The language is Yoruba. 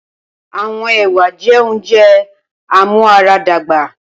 Awọn ewa jẹ ounjẹ amuaradagba.